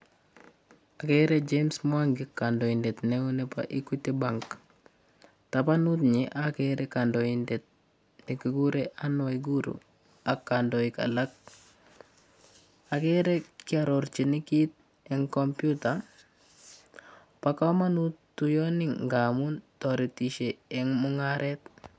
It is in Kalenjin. Akere James mwangi, kandoindet neo nebo equity bank. Tabanunyi akere kandoindet nekikure Ann Waiguru ak kandoik alak. Akere kiarorchin kit eng computer bo komanut tuiyoni nga amun taretishe eng' mung'aret.